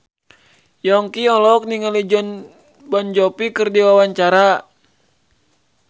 Yongki olohok ningali Jon Bon Jovi keur diwawancara